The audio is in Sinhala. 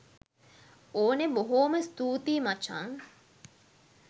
ඕනෙ බොහෝම ස්තූතියි මචං